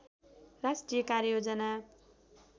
राष्ट्रिय कार्ययोजना